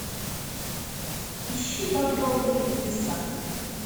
ищи багровые небеса